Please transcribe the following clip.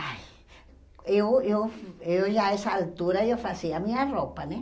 Ai... Eu, eu... Eu já, a essa altura, eu fazia a minha roupa, né?